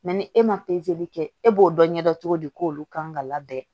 ni e ma kɛ e b'o dɔn ɲɛ dɔn cogo di k'olu kan ka labɛn